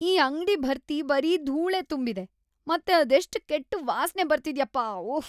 ಈ ಅಂಗ್ಡಿ ಭರ್ತಿ ಬರೀ ಧೂಳೇ ತುಂಬಿದೆ.. ಮತ್ತೆ ಅದೆಷ್ಟ್‌ ಕೆಟ್ಟ್‌ ವಾಸ್ನೆ ಬರ್ತಿದ್ಯಪ್ಪಾ..ವುಫ್!